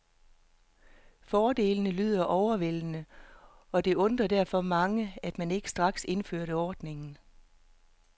Fordelene lyder overvældende og det undrede derfor mange, at man ikke straks indførte ordningen.